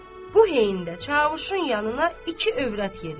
Bu heyində Çavuşun yanına iki övrət yeridi.